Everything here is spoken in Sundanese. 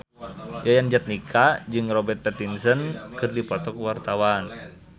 Yayan Jatnika jeung Robert Pattinson keur dipoto ku wartawan